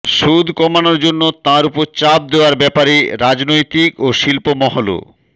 সুদ কমানোর জন্য তাঁর উপর চাপ দেওয়ার ব্যাপারে রাজনৈতিক ও শিল্পমহলও